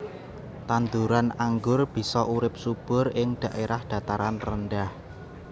Tanduran anggur bisa urip subur ing dhaèrah dhataran rendah